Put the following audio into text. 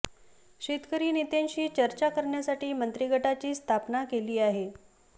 शेतकरी नेत्यांशी चर्चा करण्यासाठी मंत्री गटाची स्थापना केली आहे